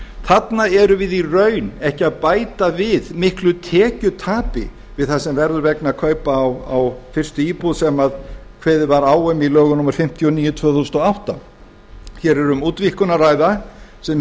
þarna erum við í raun ekki að bæta við miklu tekjutapi við það sem verður vegna kaupa á fyrstu íbúð sem kveðið var á um í lögum númer fimmtíu og níu tvö þúsund og átta hér er um útvíkkun að ræða sem